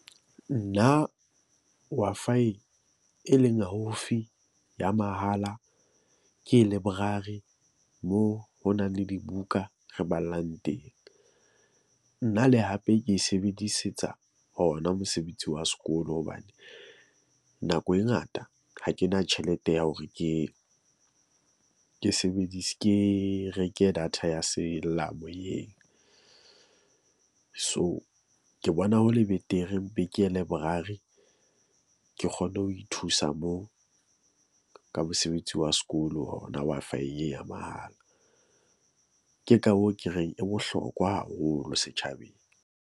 Nna Wi-Fi, e leng haufi ya mahala ke leborari moo ho nang le dibuka re bapallang teng. Nna le hape ke e sebedisetsa hona mosebetsi wa sekolo hobane nako e ngata ha ke na tjhelete ya hore ke, ke sebedise, ke reke data ya sellamoyeng. So, ke bona ho le betere mpe ke ye leborari. Ke kgone ho ithusa moo ka mosebetsi wa sekolo hona Wi-Fi ye ya mahala. Ke ka hoo ke reng e bohlokwa haholo setjhabeng.